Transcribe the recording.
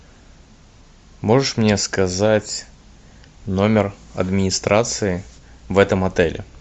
можешь мне сказать номер администрации в этом отеле